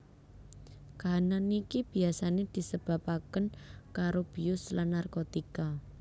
Kahanan niki biasane disebabaken karo bius lan narkotika